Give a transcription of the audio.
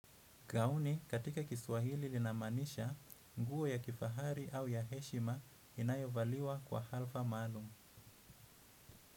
Gauni katika kiswahili ina maanisha nguo ya kifahari au ya heshima inayovaliwa kwa hafla maalum.